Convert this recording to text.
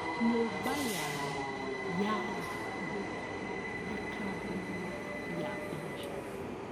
Nyũmba yao yarĩ hakuhĩ na kambĩini ya biacara.